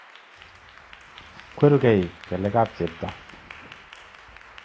Kweruge kelek ab chebto